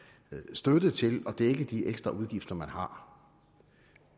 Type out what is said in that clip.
støtte til at dække de ekstra udgifter man har